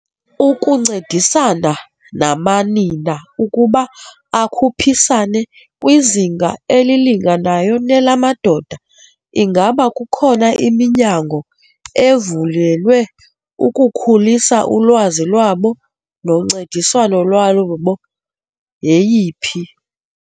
Ukuncedisana namanina ukuba akhuphisane kwizinga elilinganayo nelamadoda ingaba kukho khona iminyango ezivulelwe ukukhulisa ulwazi lwabo noncediswano lwabo yeyiphi?